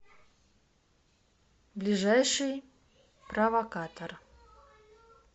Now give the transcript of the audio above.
ближайший провокатор